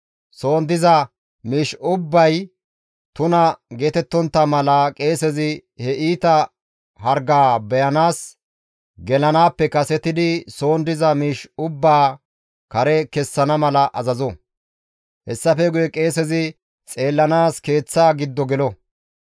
Soon diza miish ubbay tuna geetettontta mala qeesezi he iita hargaa beyanaas gelanaappe kasetidi soon diza miish ubbaa kare kessana mala azazo; hessafe guye qeesezi xeellanaas keeththaa giddo gelo.